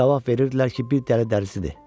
Cavab verirdilər ki, bir dəli dəlisidir.